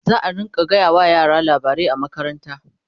zaa rinka gaya wa yara labarai a makaranta